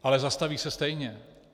Ale zastaví se stejně.